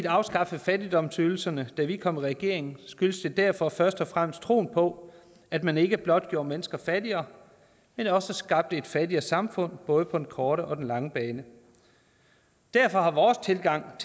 afskaffede fattigdomsydelserne da vi kom i regering skyldtes det derfor først og fremmest troen på at man ikke blot gjorde mennesker fattigere men også skabte et fattigere samfund både på den korte og den lange bane derfor har vores tilgang